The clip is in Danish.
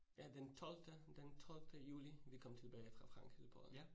ja, den tolvte, den tolvte juli vi kom tilbage fra Frankrig til Polen